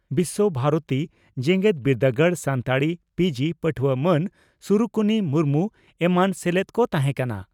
ᱵᱤᱥᱥᱚ ᱵᱷᱟᱨᱚᱛᱤ ᱡᱮᱜᱮᱛ ᱵᱤᱨᱫᱟᱹᱜᱟᱲ ᱥᱟᱱᱛᱟᱲᱤ ᱯᱤᱹᱡᱤᱹ ᱯᱟᱹᱴᱷᱩᱣᱟᱹ ᱢᱟᱱ ᱥᱩᱨᱩᱠᱩᱱᱤ ᱢᱩᱨᱢᱩ ᱮᱢᱟᱱ ᱥᱮᱞᱮᱫ ᱠᱚ ᱛᱟᱦᱮᱸ ᱠᱟᱱᱟ ᱾